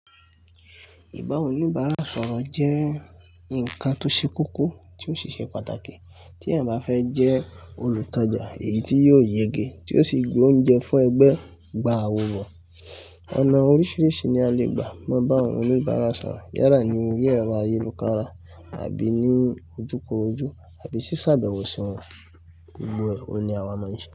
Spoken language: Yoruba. Ìbà oníbàárà sọ̀rọ̀ jẹ́ ǹkan tó ṣe kókó, tí ó si ṣe pàtàkì. Tí ẹ̀ bá fẹ́ jẹ́ olùtajà èyí tí yóò yege, tí yóò sì gbé oúnjẹ fún ẹgbẹ́, gba àwò bọ̀. Ọ̀nà oríṣiríṣi ni a lè gbà mọ́ bà àwọn oníbàárà sọ̀rọ̀. Yála ní orí ẹ̀rọ ayélukára àbí ní ojúkorojú àbí sì ṣàbẹ̀wò sí wọn. Gbogbo ẹ̀, òní àwa mọ̀ ọ́n se.